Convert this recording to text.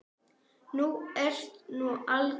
Þú ert nú alger!